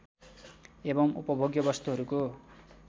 एवं उपभोग्य वस्तुहरूको